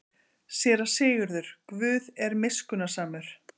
SÉRA SIGURÐUR: Guð er miskunnsamur.